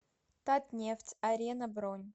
татнефть арена бронь